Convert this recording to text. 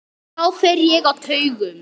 Þá fer ég á taugum.